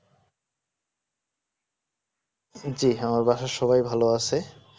জি হ্যাঁ বাসায় সবাই ভালো আছে